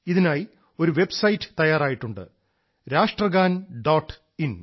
ഇതിനായി ഒരു വെബ്സൈറ്റ് തയ്യാറായിട്ടുണ്ട് രാഷ്ട്രഗാൻ ഡോട്ട് ഇൻ